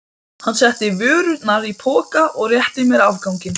Hann setti vörurnar í poka og rétti mér afganginn.